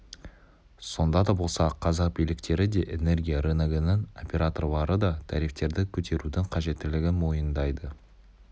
сонда да болса қазақ биліктері де энергия рыногының операторлары да тарифтерді көтерудің қажеттілігін мойындайды